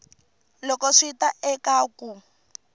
loko swi ta eka ku